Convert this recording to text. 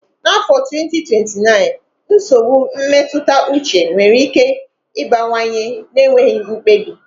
N'afọ 2029, nsogbu mmetụta uche nwere ike ịbawanye na-enweghị mkpebi.